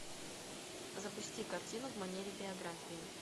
запусти картину в манере биографии